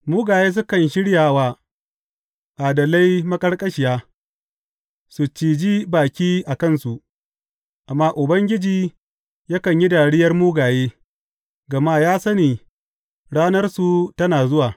Mugaye sukan shirya wa adalai maƙarƙashiya su ciji baki a kansu; amma Ubangiji yakan yi dariyar mugaye, gama ya sani ranarsu tana zuwa.